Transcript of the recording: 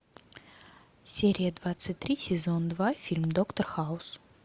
серия двадцать три сезон два фильм доктор хаус